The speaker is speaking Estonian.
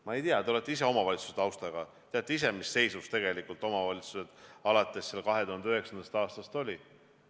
Ma ei tea, te olete ise omavalitsuse taustaga, teate ise, mis seisus omavalitsused alates 2009. aastast olid.